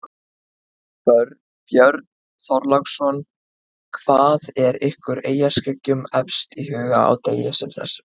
Björn Þorláksson: Hvað er ykkur eyjaskeggjum efst í huga á degi sem þessum?